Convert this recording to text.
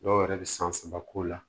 Dɔw yɛrɛ bɛ san saba k'o la